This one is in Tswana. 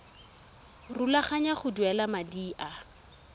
rulaganya go duela madi a